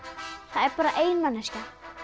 það er bara ein manneskja